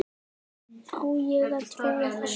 Á ég að trúa þessu?